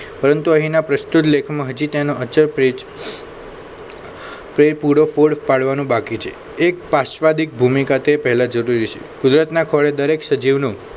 પરંતુ અહીંના પ્રસ્તૃત લેખ હજુ તેનો અચળ પ્રેત પૂરો પાડવાનો બાકી છે એક પાશ્વાદી ભૂમિકા તે પહેલા જરૂરી છે ગુજરાતના ખોળે દરેક સજીવનો